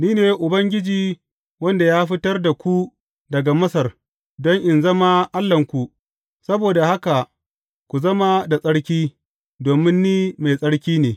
Ni ne Ubangiji wanda ya fitar da ku daga Masar don in zama Allahnku; saboda haka ku zama da tsarki, domin Ni mai tsarki ne.